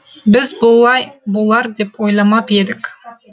біз бұлай болар деп ойламап едік